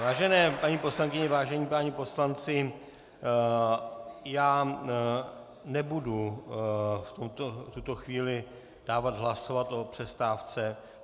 Vážené paní poslankyně, vážení páni poslanci, já nebudu v tuto chvíli dávat hlasovat o přestávce.